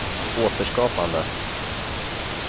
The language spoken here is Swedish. återskapande